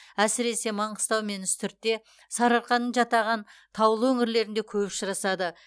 әсіресе маңғыстау мен үстіртте сарыарқаның жатаған таулы өңірлерінде көп ұшырасады